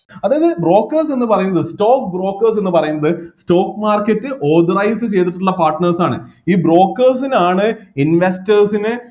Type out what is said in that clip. അതില് brokers എന്നു പറയുന്നത് stock brokers എന്നുപറയുന്നത് stock market ൽ authorise ചെയ്‌തിട്ടുള്ള partners ആണ് ഈ brokers നാണ് investers നെ